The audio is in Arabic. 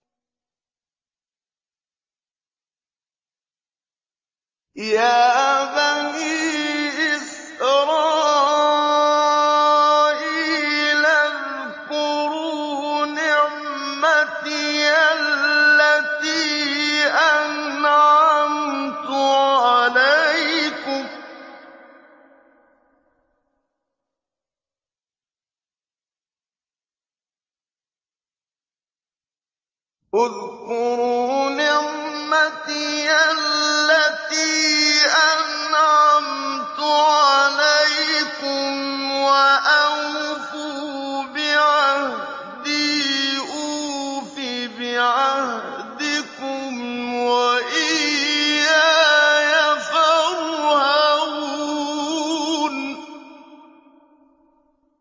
يَا بَنِي إِسْرَائِيلَ اذْكُرُوا نِعْمَتِيَ الَّتِي أَنْعَمْتُ عَلَيْكُمْ وَأَوْفُوا بِعَهْدِي أُوفِ بِعَهْدِكُمْ وَإِيَّايَ فَارْهَبُونِ